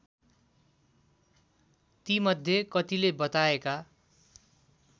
तीमध्ये कतिले बताएका